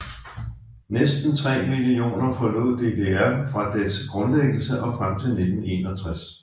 Næsten 3 millioner forlod DDR fra dets grundlæggelse og frem til 1961